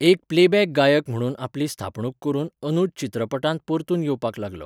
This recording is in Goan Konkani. एक प्लेबॅक गायक म्हणून आपली स्थापणूक करून अनूज चित्रपटांत परतून येवपाक लागलो.